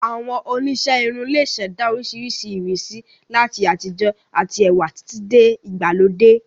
Àwọn oníṣẹ́ irun lè ṣẹ̀dá oríṣiríṣi ìrísí, láti àtijọ́ àti ẹwà títí dé ìgbàlódé